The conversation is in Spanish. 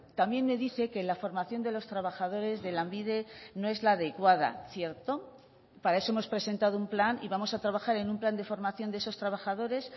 también me dice que la formación de los trabajadores de lanbide no es la adecuada cierto para eso hemos presentado un plan y vamos a trabajar en un plan de formación de esos trabajadores